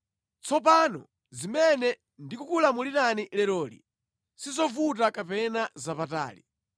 Tsopano zimene ndikukulamulirani leroli sizovuta kapena zapatali.